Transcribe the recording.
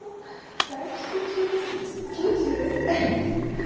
так что чудо с случилось